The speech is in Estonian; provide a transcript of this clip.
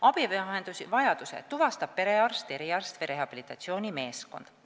" Abivahendivajaduse tuvastab perearst, eriarst või rehabilitatsioonimeeskond.